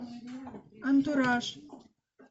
антураж